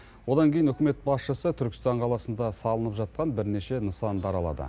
одан кейін үкімет басшысы түркістан қаласында салынып жатқан бірнеше нысанды аралады